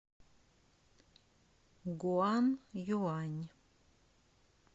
гуанъюань